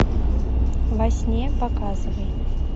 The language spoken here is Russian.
во сне показывай